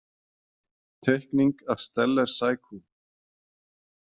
Teikning af Steller-sækú.